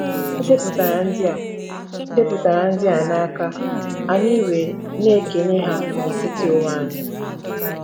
E depụtara ndị a depụtara ndị a n’aka, anyị wee na-ekenye ha n’etiti onwe anyị.